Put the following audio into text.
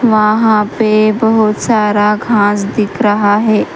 वहां पे बहुत सारा घास दिख रहा है।